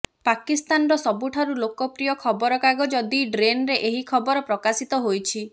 ପାକିସ୍ତାନର ସବୁଠାରୁ ଲୋକ ପ୍ରିୟ ଖବର କାଗଜ ଦି ଡନ୍ରେ ଏହି ଖବର ପ୍ରକାଶିତ ହୋଇଛି